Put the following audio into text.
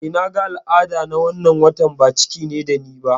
Eh, naga al'ada na wannan watan, ba ciki ne da ni ba